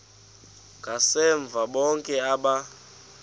ngasemva bonke aba